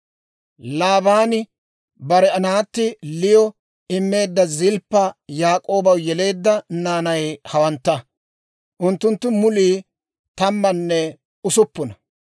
Laabaani bare naatti Liyo immeedda Zilppa Yaak'oobaw yeleedda naanay hawantta; unttunttu mulii tammanne usuppuna.